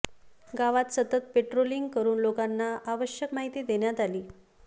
गावात सतत पेट्रोलींग करून लोकांना आवश्यक माहिती देण्यात आली